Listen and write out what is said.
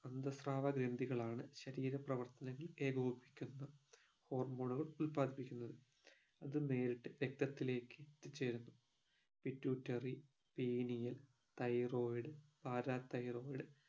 അന്തസ്രാവ ഗ്രന്ധികളാണ് ശരീര പ്രവർത്തനങ്ങൾ ഏകോപിക്കുന്ന hormone ഉകൾ ഉല്പാദിപ്പിക്കുന്നത് അത് നേരിട്ട് രക്തത്തിലേക്ക് എത്തിച്ചേരുന്നു pituitary pineal thyroid parathyroid